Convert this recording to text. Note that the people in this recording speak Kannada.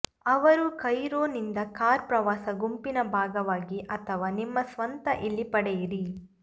ಅವರು ಕೈರೋ ನಿಂದ ಕಾರ್ ಪ್ರವಾಸ ಗುಂಪಿನ ಭಾಗವಾಗಿ ಅಥವಾ ನಿಮ್ಮ ಸ್ವಂತ ಇಲ್ಲಿ ಪಡೆಯಿರಿ